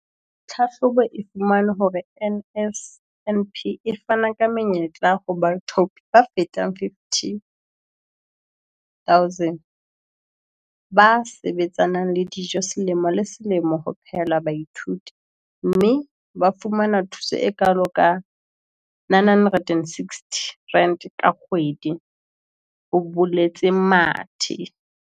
"Tlhahlobo e fumane hore NSNP e fana ka menyetla ho baithaopi ba fetang 50 000 ba sebetsanang le dijo selemo le selemo ho phehela baithuti, mme ba fumana thuso e kalo ka R960 ka kgwedi," ho boletse Mathe.